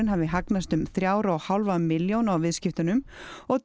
hafi hagnast um þrjár og hálfa milljón á viðskiptunum og